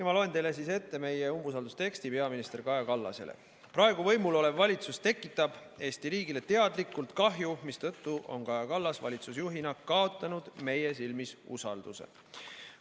Ma loen teile ette meie umbusaldusavalduse peaminister Kaja Kallasele: "Praegu võimul olev valitsus tekitab Eesti riigile teadlikult kahju, mistõttu on Kaja Kallas valitsusjuhina kaotanud meie silmis usalduse.